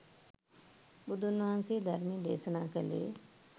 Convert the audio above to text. බුදුන් වහන්සේ ධර්මය දේශනා කළේ